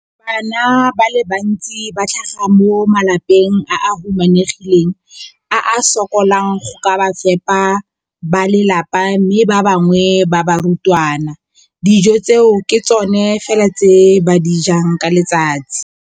Bana ba le bantsi ba tlhaga mo malapeng a a humanegileng a a sokolang go ka fepa ba lelapa mme ba bangwe ba barutwana, dijo tseo ke tsona fela tse ba di jang ka letsatsi.